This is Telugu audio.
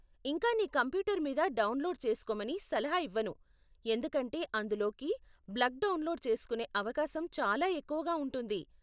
ఇంకా నీ కంప్యూటర్ మీద డౌన్లోడ్ చేసుకోమని సలహా ఇవ్వను, ఎందుకంటే అందులోకి బగ్లు డౌన్లోడ్ చేసుకునే అవకాశం చాలా ఎక్కువగా ఉంటుంది.